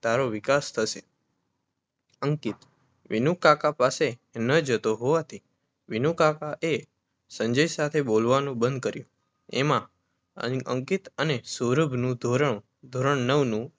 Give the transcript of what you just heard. ટેરો વિકાસ થશે અંકિત વિનુકાકા પાસે ન જતો હોવાથી વિનુકાકાએ સંજય સાથે બોલાવવાનું બંધ કર્યું એમાં અંકિત અને સૌરભનું ધોરણ નવનું